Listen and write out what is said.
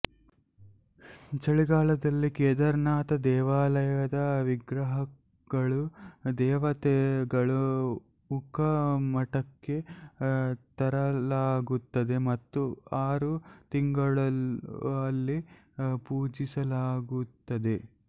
ಚಳಿಗಾಲದಲ್ಲಿ ಕೇದಾರನಾಥ ದೇವಾಲಯದ ವಿಗ್ರಹಗಳು ದೇವತೆಗಳು ಉಖಿ ಮಠಕ್ಕೆ ತರಲಾಗುತ್ತದೆ ಮತ್ತು ಆರು ತಿಂಗಳು ಅಲ್ಲಿ ಪೂಜಿಸಲಾಗುತ್ತದೆ